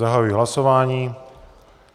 Zahajuji hlasování.